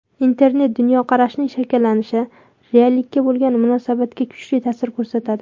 Internet dunyoqarashning shakllanishi, reallikka bo‘lgan munosabatga kuchli ta’sir ko‘rsatadi.